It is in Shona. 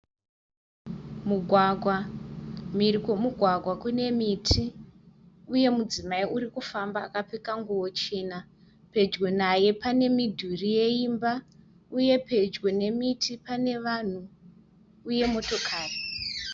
Mugwagwa, mhiri kwomugwagwa kune miti. Uye mudzimai urikufamba akapfeka nguwo chena. Pedyo naye panemudhuri yeimba, uye pedyo nemiti pane vanhu uye motokari.